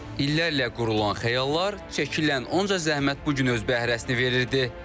İllərlə qurulan xəyallar, çəkilən onca zəhmət bu gün öz bəhrəsini verirdi.